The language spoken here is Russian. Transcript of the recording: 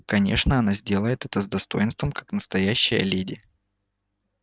конечно она сделает это с достоинством как настоящая леди